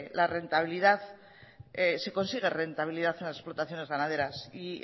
se consigue rentabilidad en las explotaciones ganaderas y